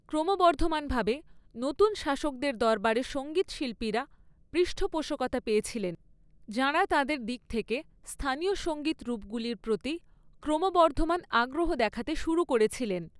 ক্রমবর্ধমানভাবে, নতুন শাসকদের দরবারে সঙ্গীতশিল্পীরা পৃষ্ঠপোষকতা পেয়েছিলেন, যাঁরা তাঁদের দিক থেকে স্থানীয় সঙ্গীত রূপগুলির প্রতি ক্রমবর্ধমান আগ্রহ দেখাতে শুরু করেছিলেন।